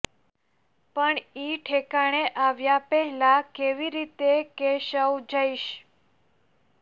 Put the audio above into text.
પણ ઈ ઠેકાણે આવ્યા પહેલા કેવી રીતે કેશવ જઈશ